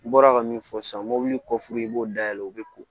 N bɔra ka min fɔ sisan mobili kɔfuru i b'o dayɛlɛ u bɛ ko